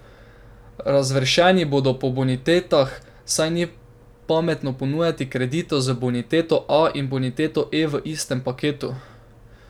Razvrščeni bodo po bonitetah, saj ni pametno ponujati kreditov z boniteto A in boniteto E v istem paketu.